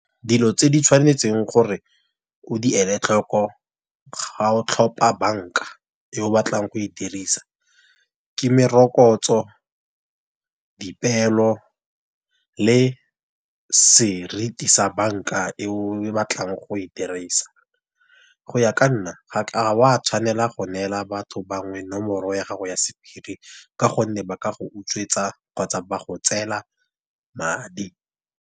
Dilo tse di tshwanetseng gore o di ele tlhoko ga o tlhopha banka, yo o batlang go e dirisa. Ke merokotso, dipeelo, le seriti sa banka e o batlang go e dirisa. Go ya ka nna ga wa tshwanela go neela batho bangwe nomoro ya gago ya sephiri ka gonne ba ka go utswetsa kgotsa ba go tseela madi.